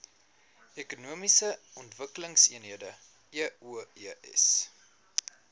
ekonomiese ontwikkelingseenhede eoes